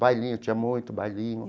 Bailinho, tinha muito bailinho.